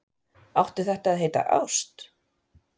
Átti þetta að heita ást?